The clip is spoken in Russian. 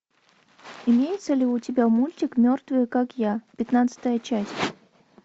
имеется ли у тебя мультик мертвые как я пятнадцатая часть